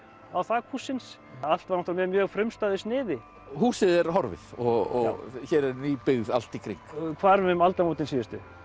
á þak hússins allt var þetta með mjög frumstæðu sniði húsið er horfið og hér er ný byggð allt í kring já hvarf um aldamótin síðustu